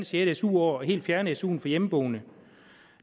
sjette su år og helt fjerne su til hjemmeboende